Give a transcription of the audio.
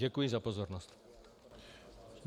Děkuji za pozornost.